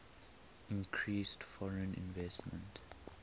increased foreign investment